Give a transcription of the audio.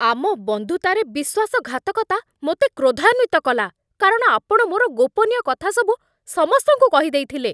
ଆମ ବନ୍ଧୁତାରେ ବିଶ୍ୱାସଘାତକତା ମୋତେ କ୍ରୋଧାନ୍ଵିତ କଲା, କାରଣ ଆପଣ ମୋର ଗୋପନୀୟ କଥାସବୁ ସମସ୍ତଙ୍କୁ କହିଦେଇଥିଲେ।